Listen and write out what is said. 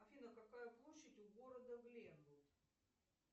афина какая площадь у города гленвуд